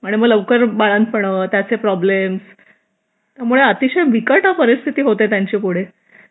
आणि मग लवकर बाळंतपण त्याचे प्रॉब्लेम्स त्यामुळे अतिशय बिकट परिस्थिती होते त्यांची पुढे